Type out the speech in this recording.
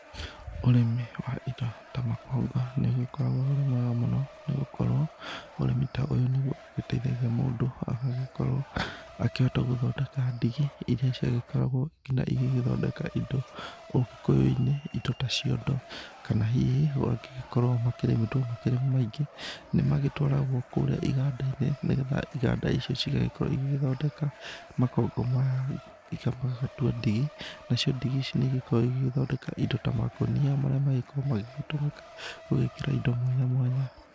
Ũrĩmi wa indo ta makongo nĩ ũgĩkoragwo ũrĩ mwega mũno nĩ gũkorwo ũrĩmi ta ũyũ nĩgũo ũgĩteithagĩa mũndũ agagĩkorwo akĩhota gũthondeka ndigi iria ciagĩkoragwo nginya igĩgĩthondeka indo ũgĩkũyũ-inĩ indo ta ciondo kana hihi magĩkoro makĩrĩmĩtwo makĩrĩ maingĩ nĩmagĩtwaragwo kũrĩa iganda-inĩ nĩgetha iganda icio ĩgagĩkorwo ĩgĩthondeka makongo maya magamatua ndigi, nacio ndigi ici nĩigĩkoragwo igĩgĩthondeka indo ta makũnia marĩa makoragwo magĩtumĩka gũgĩkĩra indo mwanya mwanya.